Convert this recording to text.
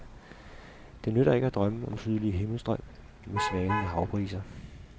Det nytter ikke at drømme om sydlige himmelstrøg med svalende havbriser.